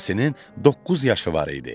Yasinin doqquz yaşı var idi.